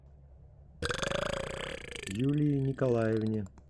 юлии николаевне